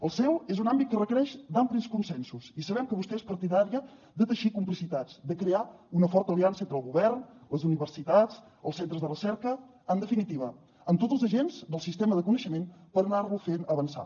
el seu és un àmbit que requereix d’amplis consensos i sabem que vostè és partidària de teixir complicitats de crear una forta aliança entre el govern les universitats els centres de recerca en definitiva amb tots els agents del sistema de coneixement per anar lo fent avançar